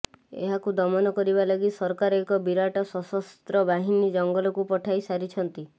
ଏହାକୁ ଦମନ କରିବାଲାଗି ସରକାର ଏକ ବିରାଟ ସଶସ୍ତ୍ର ବାହିନୀ ଜଙ୍ଗଲକୁ ପଠାଇ ସାରିଛନ୍ତିି